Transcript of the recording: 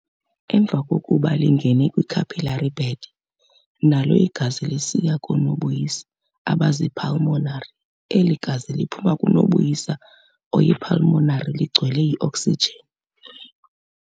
Emva kokuba lingene kwi-capillary bed, nalo igazi lisiya koo-nobuyisa abazii-pulmonary Eli gazi liphuma kunobuyisa oyi-"pulmonary ligcwele yi-oksijin".